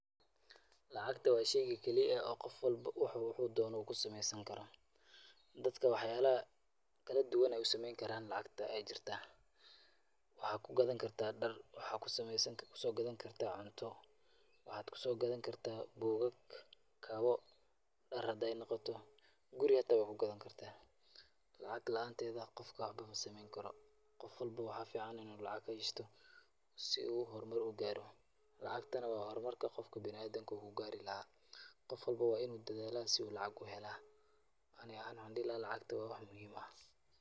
Lacagta waa shayga keli eh oo qof walbo waxa waxa uu doono uu ku samaysankaro. Dadka wax yaalaha kala duwan ay u sameyn karaan lacagta ay jirta; waxay ku gadankartaa dhar, waxaa ku samaysankartaa ku soo gadan kartaa cunto, waxaad ku soo gadan kartaa buugag, kabo, dhar hadaay noqoto, guri hataa waad ku gadan kartaa. Lacag la'aanteedha qofka waxbo ma sameynkaro. Qof walbo waxaa ficaan in uu lacag haaysto si uu hormar u gaaro. Lacagtana waa hormarka qofka bina'aadanka uu ku gaari lahaa. Qof walbo waa in uu dadaalaa si uu lacag u hela. Ani ahaan waxaan dhihi lahaa, lacagta waa wax muhiim ah.